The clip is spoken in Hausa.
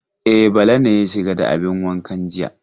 E, Bala ne ya shiga da abin wankan jiya.